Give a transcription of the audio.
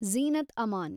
Zeenat Aman